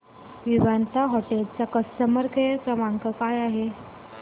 Vivanta hotel चा customer care क्रमांक काय आहे